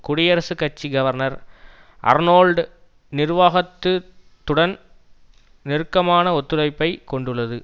குடியரசுக் கட்சி governor Arnold நிர்வாகத்து துடன் நெருக்கமான ஒத்துழைப்பை கொண்டுள்ளது